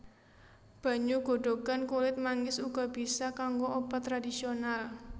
Banyu godhogan kulit manggis uga bisa kanggo obat tradisional